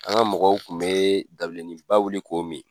An ka mɔgɔw kun be dabileni ba wuli ko mi .